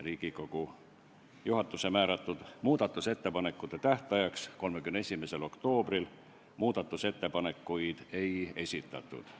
Riigikogu juhatuse määratud muudatusettepanekute esitamise tähtajaks 31. oktoobril muudatusettepanekuid ei esitatud.